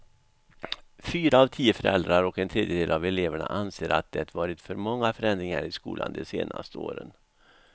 Fyra av tio föräldrar och en tredjedel av eleverna anser att det varit för många förändringar i skolan de senaste åren.